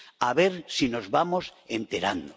A ver si nos vamos enterando.